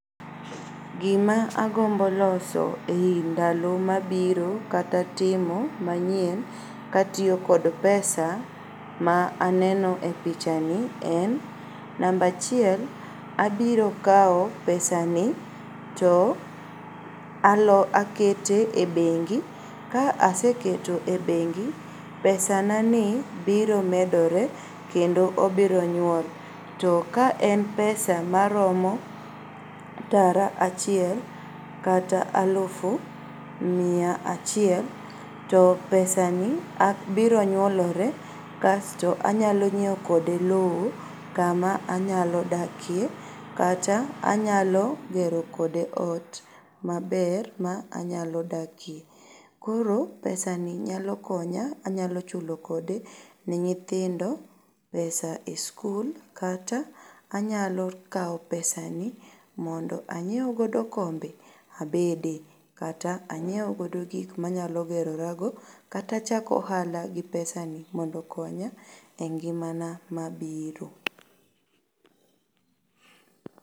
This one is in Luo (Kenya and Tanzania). Gima agombo loso e ndalo mabiro kata timo manyien katiyo kod pesa ma aneno e pichani en, namba achiel abiro kao pesa ni to akete ebengi. Ka aseketo e bengi pesanani biro medore kendo obironyuol. To ka en pesa maromo tara achiel kata alufu mia achiel to pesa ni biro nyuolore kasto anyalo nyieo kode lowo kama anyalo dakie kata anyalo gero kode ot maber ma anyalo dakie. Koro pesa ni nyalo konya, anyalo chulo kode ne nyithindo pesa] e skul kata anyalokao pesa ni mondo anyieugodo kombe abedie kata anyieugodo gikmanyalo gerorago kata chako ohala gi pesa ni mondo okonya e ngimana mabiro.